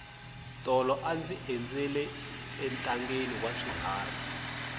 tolo a ndzi endzela entangheni wa swiharhi